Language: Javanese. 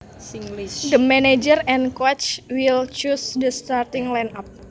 The manager and coaches will choose the starting line up